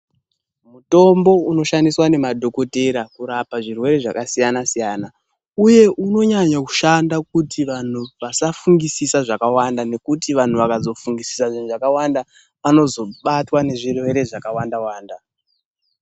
Mutombo unoshandiswa nemadhogodheya kurapa zvirwere zvakasiyana-siyana, uye unonyanya kushanda kuti vantu vasafungisisa zvakawanda. Nekuti vantu vakazofungusisa zvakawanda vanozobatwa nezvirwere zvakawanda wanda.